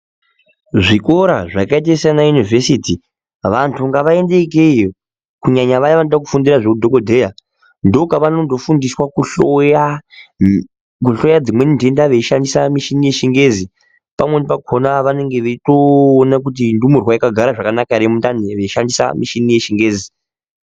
Zvikora zvakaita Sana univhesiti vantu ngavaende ikweyo kunyanya Vaya vanoda kufundira zvehudhokodheya ndokwavanofundira kuhloya dzimweni ndenda veishandisa Mishini yechingezi pamweni pakona vanenge vachitoona kuti ndumurwa yakagara zvakanaka here mundani veishandisa mishini yechingezi.